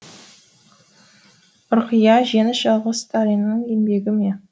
ұрқия жеңіс жалғыз сталиннің еңбегі ме